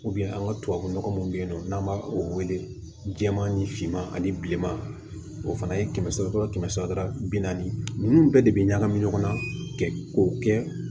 an ka tubabunɔgɔ mun bɛ yen nɔ n'an b'a o welema ni finma ani bileman o fana ye kɛmɛ sara kɛmɛ saba bi naani ninnu bɛɛ de bɛ ɲagami ɲɔgɔn na kɛ k'o kɛ